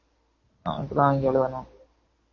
அவன்ட வாங்கி எழுதணும்